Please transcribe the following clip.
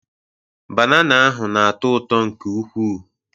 Banana ahụ na-atọ ụtọ nke ukwuu.